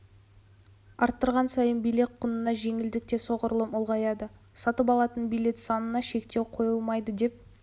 арттырған сайын билет құнына жеңілдік те соғұрлым ұлғаяды сатып алынатын билет санына шектеу қойылмайды деп